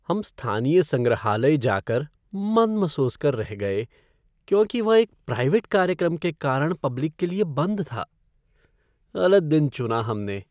हम स्थानीय संग्रहालय जाकर मन मसोस कर रह गए क्योंकि वह एक प्राइवेट कार्यक्रम के कारण पब्लिक के लिए बंद था। गलत दिन चुना हमने